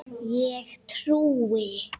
Ég trúi.